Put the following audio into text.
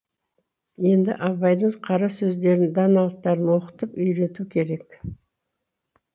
енді абайдың қара сөздерін даналықтарын оқытып үйрету керек